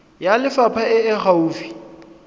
ya lefapha e e gaufi